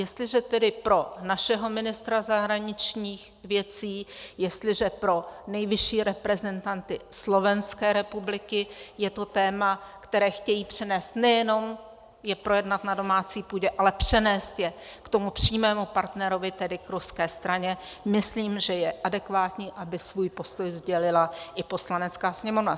Jestliže tedy pro našeho ministra zahraničních věcí, jestliže pro nejvyšší reprezentanty Slovenské republiky je to téma, které chtějí přenést, nejenom je projednat na domácí půdě, ale přenést je k tomu přímému partnerovi, tedy k ruské straně, myslím, že je adekvátní, aby svůj postoj sdělila i Poslanecké sněmovna.